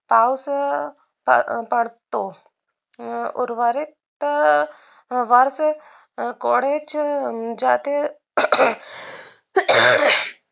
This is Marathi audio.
पाऊस पड पडतो. अह उर्वरित वर्ष कोडेचं ज्यातील